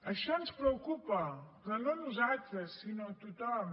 això ens preocupa però no a nosaltres sinó a tothom